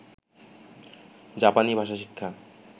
জাপানি ভাষা শিক্ষা